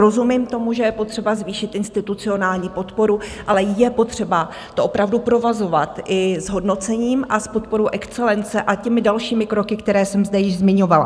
Rozumím tomu, že je potřeba zvýšit institucionální podporu, ale je potřeba to opravdu provazovat i s hodnocením a s podporou excelence a těmi dalšími kroky, které jsem zde již zmiňovala.